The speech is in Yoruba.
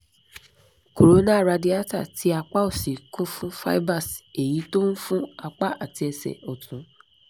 corona radiata ti apa osi kun fun fibers eyi to n fun apa ati ese otun